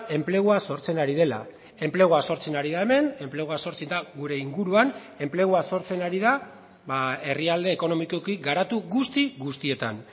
enplegua sortzen ari dela enplegua sortzen ari da hemen enplegua sortzen da gure inguruan enplegua sortzen ari da herrialde ekonomikoki garatu guzti guztietan